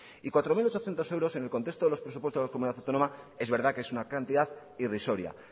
y cuatro mil ochocientos euros en el contexto de los presupuestos de la comunidad autónoma es verdad que es una cantidad irrisoria